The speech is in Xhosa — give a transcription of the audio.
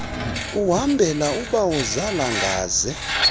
uhambela oobawozala ngaze